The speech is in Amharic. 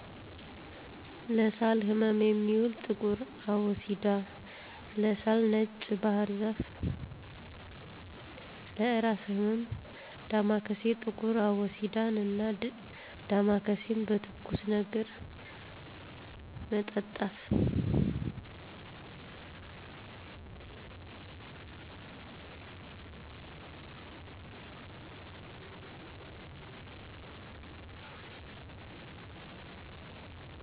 ለሳል ህመም የሚውል ጥቁር አቦሲዳ, ለሳል ነጭ ባህርዛፍ ,ለእራስ ህመም ዳማካሴ። ጥቁር አቦሲዳን እና ዳማካሴን በትኩስ ነገር መጠጣት።